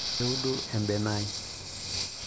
keodu ebene ai